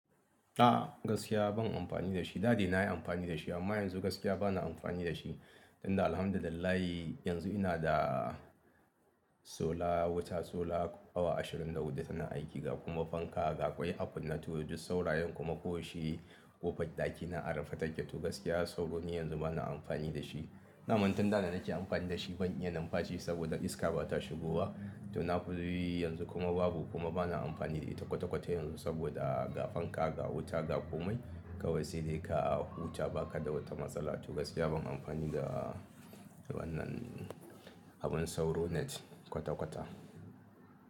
A gaskiya ban amfani da shi. Da dai na yi amfani da shi amma yanzu gaskiya ba na amfani da shi. Inda alhamdulillah yanzu ina da sola wuta sola awa ashirin da huɗu tana aiki ga kuma fanka ga ƙwai, akun nato, duk saurayen kuma ko shi ƙofar ɗakina an rufe take. To gaskiya sauro ne yanzu ba na amfani da shi. Da man tunda na nake amfani da shi ban iya numfaci saboda iska ba ta shigowa. To na fi yi yanzu kuma babu kuma ba na amfani da ita kwata-kwata yanzu saboda ga fanka, ga wuta, ga komai kawai sai dai ka huta baka da wata matsala. To gaskiya ban amfani da wannan abun sauro net kwata-kwata.